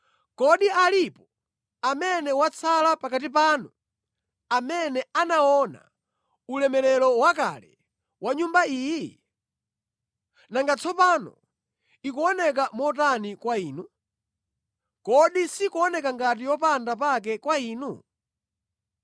‘Kodi alipo amene watsala pakati panu amene anaona ulemerero wakale wa Nyumba iyi? Nanga tsopano ikuoneka motani kwa inu? Kodi sikuoneka ngati yopanda pake kwa inu?